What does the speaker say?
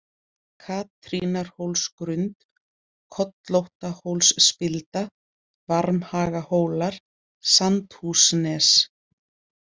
Katrínarhólsgrund, Kollóttahólsspilda, Varmhagahólar, Sandhúsnes